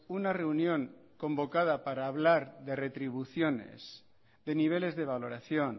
una reunión convocada para hablar de retribuciones de niveles de valoración